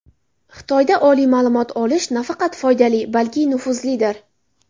Xitoyda oliy ma’lumot olish nafaqat foydali, balki nufuzlidir.